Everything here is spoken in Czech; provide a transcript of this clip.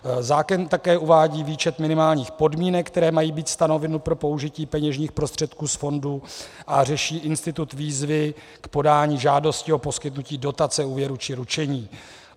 Zákon také uvádí výčet minimálních podmínek, které mají být stanoveny pro použití peněžních prostředků z fondu, a řeší institut výzvy k podání žádosti o poskytnutí dotace, úvěru či ručení.